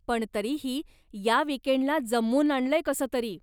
पण तरीही, या विकेंडला जमवून आणलंय कसं तरी.